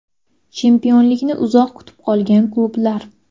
Chempionlikni uzoq kutib qolgan klublar.